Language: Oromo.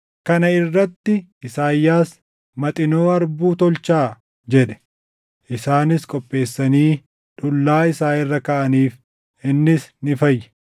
Kana irratti Isaayyaas, “Maxinoo harbuu tolchaa” jedhe. Isaanis qopheessanii dhullaa isaa irra kaaʼaniif; innis ni fayye.